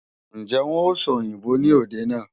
Ǹjẹ́ wọn ó sòyìnbó ní òde náà?